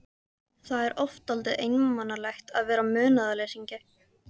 Það er oft dálítið einmanalegt að vera munaðarleysingi.